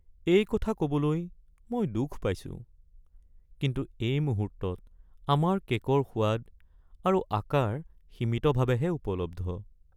এই কথা ক’বলৈ মই দুখ পাইছোঁ, কিন্তু এই মুহূৰ্তত আমাৰ কে'কৰ সোৱাদ আৰু আকাৰ সীমিতভাৱেহে উপলব্ধ।